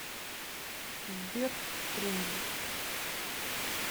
сбер в тренде